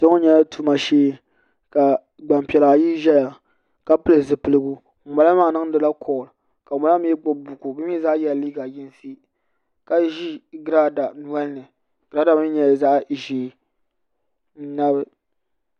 kpɛ ŋo nyɛla tuma shee ka gbanpiɛla ayi ʒɛya ka pili zipiligu ŋunbala maa niŋdila kool ka ŋunbala maa mii gbubi buku bi mii zaa yɛla liiga yinsi ka ʒi giraada nolini giraada maa mii nyɛla zaɣ ʒiɛ n nabi